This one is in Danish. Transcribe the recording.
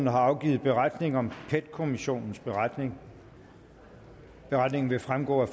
har afgivet beretning om pet kommissionens beretning beretningen vil fremgå af